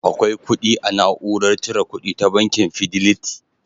Akwai kudi a na'urar cire kuɗi ta bankin Fideliti